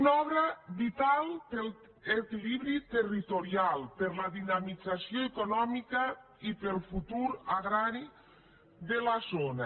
una obra vital per a l’equilibri territorial per a la dinamització econòmica i per al futur agrari de la zona